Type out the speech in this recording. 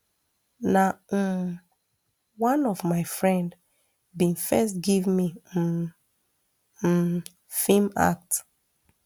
na um one of my friend bin first give me um um feem act